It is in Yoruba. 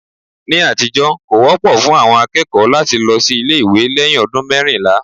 Ní àtijọ́, kò wọ́pọ̀ fún àwọn akẹ́kọ̀ọ́ láti lọ sí ilé ìwé lẹ́yìn ọdún mẹ́rìnlá